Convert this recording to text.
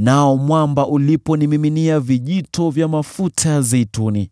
nao mwamba ukanimiminia vijito vya mafuta ya zeituni.